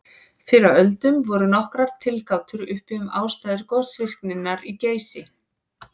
Fyrr á öldum voru nokkrar tilgátur uppi um ástæður gosvirkninnar í Geysi.